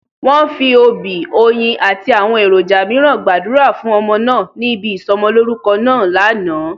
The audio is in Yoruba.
Wọ́n fi òbí, oyin àti àwọn èròjà mìíràn gbàdúrà fún ọmọ náà ní ibi ìsọ'mọlórúkọ náà lánàá